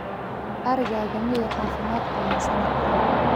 arigaaga miyee caafimaad qabaan sanadkan